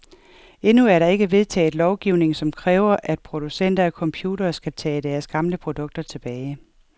Endnu er der ikke vedtaget lovgivning, som kræver, at producenter af computere skal tage deres gamle produkter tilbage.